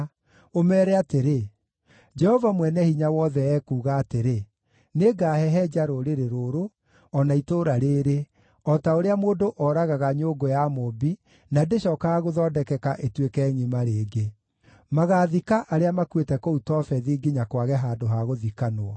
ũmeere atĩrĩ, ‘Jehova Mwene-Hinya-Wothe ekuuga atĩrĩ: Nĩngahehenja rũrĩrĩ rũrũ, o na itũũra rĩĩrĩ, o ta ũrĩa mũndũ oragaga nyũngũ ya mũũmbi na ndĩcookaga gũthondekeka ĩtuĩke ngʼima rĩngĩ. Magaathika arĩa makuĩte kũu Tofethi nginya kwage handũ ha gũthikanwo.